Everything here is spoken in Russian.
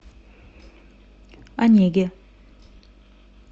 онеге